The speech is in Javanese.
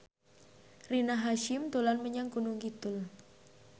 Rina Hasyim dolan menyang Gunung Kidul